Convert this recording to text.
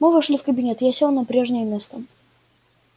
мы вошли в кабинет я сел на прежнее место